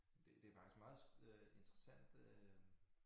Det det faktisk meget øh interessant øh